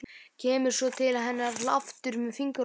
Kemur svo til hennar aftur með fingur á lofti.